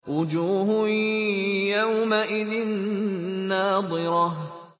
وُجُوهٌ يَوْمَئِذٍ نَّاضِرَةٌ